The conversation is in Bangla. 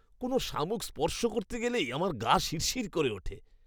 কোনও শামুক স্পর্শ করতে গেলেই আমার গা শিরশির করে ওঠে।